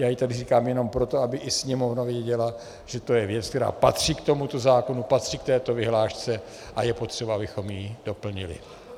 Já ji tady říkám jenom proto, aby i Sněmovna věděla, že to je věc, která patří k tomuto zákonu, patří k této vyhlášce, a je potřeba, abychom ji doplnili.